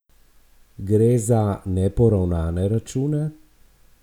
Gre za neporavnane račune?